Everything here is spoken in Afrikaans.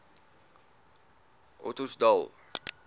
ottosdal